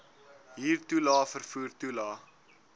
huurtoelae vervoer toelae